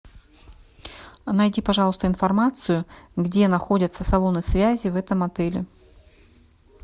найди пожалуйста информацию где находятся салоны связи в этом отеле